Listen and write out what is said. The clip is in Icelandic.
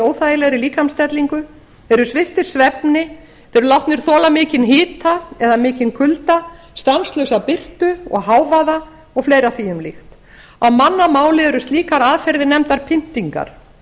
óþægilegri líkamsstellingu þeir eru sviptir svefni þeir eru látnir þola mikinn hita eða mikinn kulda stanslausa birtu og hávaða og fleira því um líkt á mannamáli eru slíkar aðferðir nefndar pyntingar